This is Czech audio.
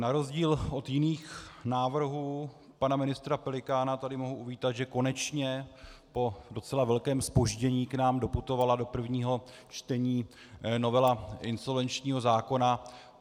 Na rozdíl od jiných návrhů pana ministra Pelikána tady mohu uvítat, že konečně po docela velkém zpoždění k nám doputovala do prvního čtení novela insolvenčního zákona.